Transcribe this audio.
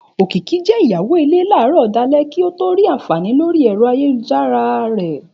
Òkìkí je ìyàwó ilé láràárò dálé kí ọ tó rí àǹfàní lórí ẹ̀rọ ayélujára rọ